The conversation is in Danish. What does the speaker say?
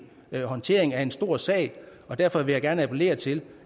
håndtering af en stor sag og derfor vil jeg gerne appellere til